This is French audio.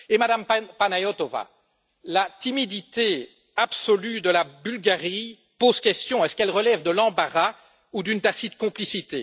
Et Madame Panayotova, la timidité absolue de la Bulgarie pose question est ce qu'elle relève de l'embarras ou d'une tacite complicité?